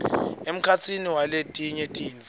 emkhatsini waletinye tintfo